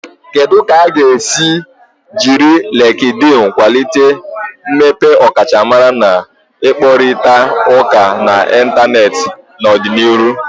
Kedu ka a ga-esi jiri Likidin kwalite mmepe ọkachamara na ịkparịta ụka n'Ịntanet n'ọdịnihu?